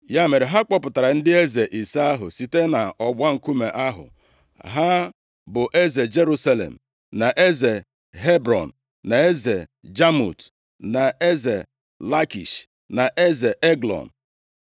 Ya mere, ha kpọpụtara ndị eze ise ahụ site nʼọgba nkume ahụ, ha bụ eze Jerusalem, na eze Hebrọn, na eze Jamut, na eze Lakish, na eze Eglọn.